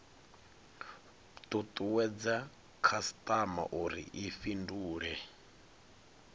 tutuwedze khasitama uri i fhindule